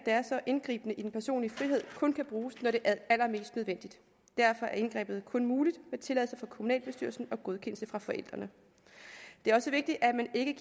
er så indgribende i den personlige frihed kun kan bruges når det er allermest nødvendigt derfor er indgrebet kun muligt med tilladelse fra kommunalbestyrelsen og godkendelse fra forældrene det er også vigtigt at man ikke